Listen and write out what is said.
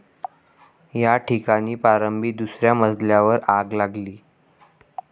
या ठिकाणी प्रारंभी दुसऱ्या मजल्यावर आग लागली.